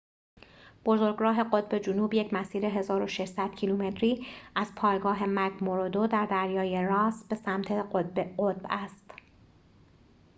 بزرگراه قطب جنوب یک مسیر ۱۶۰۰ کیلومتری از پایگاه مک‌موردو در دریای راس به سمت قطب است